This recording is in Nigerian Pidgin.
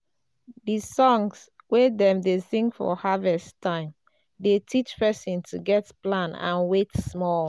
the songs wey dem dey sing for harvest time dey teach person to get plan and wait small.